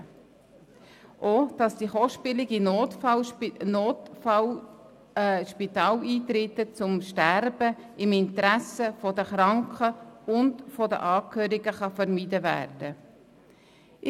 Auch ist es wichtig, dass die kostspieligen NotfallSpitaleintritte zum Sterben im Interesse der Kranken und der Angehörigen vermieden werden können.